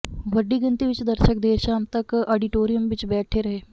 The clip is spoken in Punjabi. ਵੱਡੀ ਗਿਣਤੀ ਵਿੱਚ ਦਰਸ਼ਕ ਦੇਰ ਸ਼ਾਮ ਤੱਕ ਆਡੀਟੋਰੀਅਮ ਵਿੱਚ ਬੈਠੇ ਰਹੇ